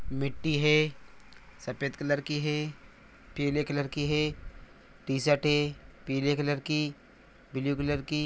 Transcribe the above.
मिट्टी है सफ़ेद कलर की है। पिले कलर की है टी_शर्ट है पिले कलर की ब्लू कलर की।